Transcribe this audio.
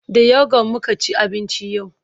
da youghurt muka ci abinci yau